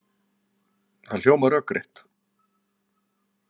Það hljómar rökrétt.